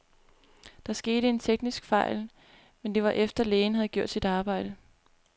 Der skete en teknisk fejl, men det var efter, lægen havde gjort sit arbejde.